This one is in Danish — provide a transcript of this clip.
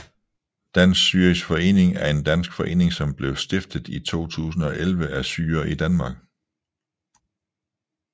Dansk Syrisk Forening er en dansk forening som blev stiftet i 2011 af syrere i Danmark